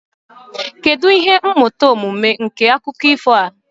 kedu ihe mmụta omume nke akụkọ ifo a